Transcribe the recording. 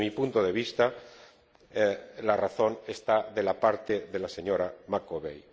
Desde mi punto de vista, la razón está de la parte de la señora Macovei.